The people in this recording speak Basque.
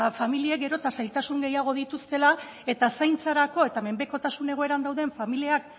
familiek geroz eta zailtasun gehiago dituztela eta zaintzarako eta menpekotasun egoeran